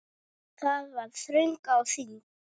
Það var þröng á þingi.